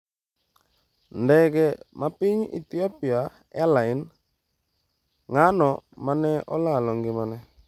Ndege mag piny Ethiopia Ethiopian Airlines: Ng'ano mane olalo ngimagi?